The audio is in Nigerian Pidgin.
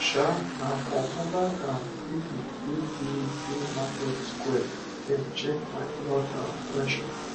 um um na for mobile um clinic wey dey dey market square dem check my blood um pressure